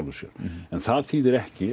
sér en það þýðir ekki